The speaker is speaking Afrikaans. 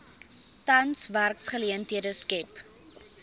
tans werksgeleenthede skep